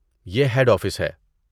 یہ head office ہے۔